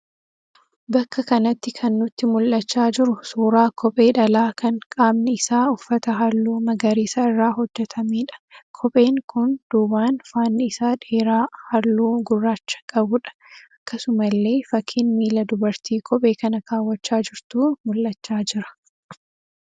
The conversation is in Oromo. Bakka kanatti kan nutti mul'achaa jiruu suuraa kophee dhalaa kan qaamni isaa uffata halluu magariisa irraa hojjetameedha. Kopheen kun duubaan faanni isaa dheeraa halluu gurraacha qabuudha. Akkasumallee fakkiin miila dubartii kophee kana kaawwachaa jirtuu mul'achaa jira.